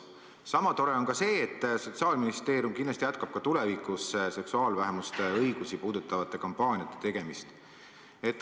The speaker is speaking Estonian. Sama tore on ka see, et Sotsiaalministeerium kindlasti jätkab ka tulevikus seksuaalvähemuste õigusi puudutavate kampaaniate tegemist.